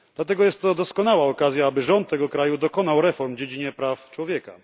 Dlatego jest to doskonała okazja, by rząd tego kraju dokonał reform w dziedzinie praw człowieka.